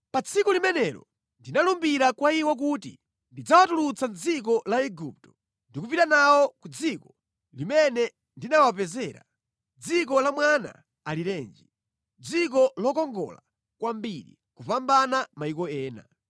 Pa tsiku limenelo ndinalumbira kwa iwo kuti ndidzawatulutsa mʼdziko la Igupto ndi kupita nawo ku dziko limene ndinawapezera, dziko la mwana alirenji, dziko lokongola kwambiri kupambana mayiko ena.